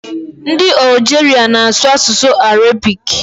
Ndị Algeria na-asụ asụsụ Arabic.